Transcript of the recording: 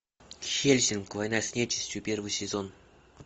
хеллсинг война с нечистью первый сезон